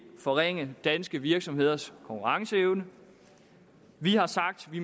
forringe danske virksomheders konkurrenceevne vi har sagt vi